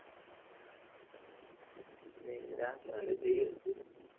ഇല്ല എന്നാലും ഇജ്ജ്